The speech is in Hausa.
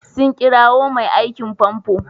Sun kirowa mai aikin famfo?